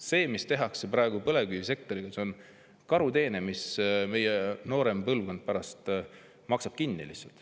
See, mida tehakse praegu põlevkivisektoriga, on karuteene, mille meie noorem põlvkond maksab pärast kinni.